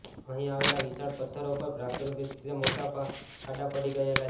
અહીં આવેલા વિશાળ પથ્થરો પર પ્રાકૃતિક રીતે મોટામોટા ખાડા પડી ગયેલા છે